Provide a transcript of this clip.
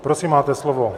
Prosím, máte slovo.